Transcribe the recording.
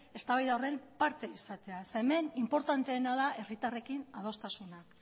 eztabaida horren parte izatea hemen inportanteena da herritarrekin adostasunak